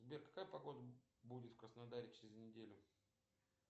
сбер какая погода будет в краснодаре через неделю